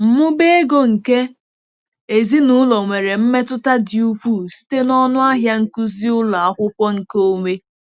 Mmụba ego nke ezinụlọ nwere mmetụta dị ukwuu site na ọnụ ahịa nkuzi ụlọ akwụkwọ nkeonwe.